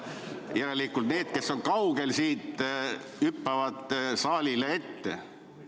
Järelikult need, kes on kaugel, hüppavad saalis olijaile ette.